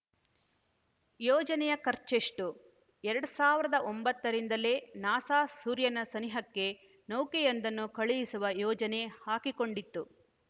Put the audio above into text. ಯೋಜನೆಯ ಖರ್ಚೆಷ್ಟು ಎರಡ್ ಸಾವಿರದ ಒಂಬತ್ತರಿಂದಲೇ ನಾಸಾ ಸೂರ್ಯನ ಸನಿಹಕ್ಕೆ ನೌಕೆಯೊಂದನ್ನು ಕಳುಹಿಸುವ ಯೋಜನೆ ಹಾಕಿಕೊಂಡಿತ್ತು